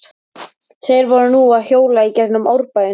Þeir voru nú að hjóla í gegnum Árbæinn.